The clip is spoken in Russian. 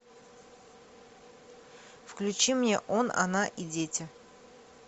включи мне он она и дети